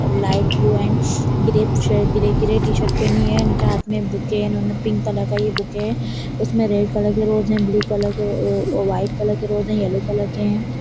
A light blue and grey श grey - grey t shirt पहनी है उनके हाथ में बुके है उन्होंने पिंक कलर का ये बुके है उसमें रेड कलर के रोज़ एंड ब्लू कलर के अ-अ-अ-व्हाइट कलर के रोज़ हैं येलो कलर के हैं।